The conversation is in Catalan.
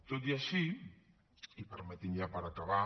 tot i així i permetin ja per acabar